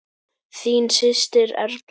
Þín systir, Erla.